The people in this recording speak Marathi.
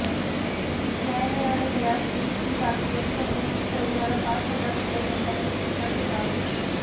न्यायालयाने दयादृष्टी दाखवत संबंधित तरुणाला पाच हजार रुपये दंडाची शिक्षा ठोठावली